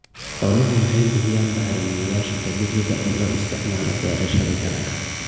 Xooluhu waxay bixiyaan bacrimiyeyaasha dabiiciga ah ee loo isticmaalo beerashada dalagga.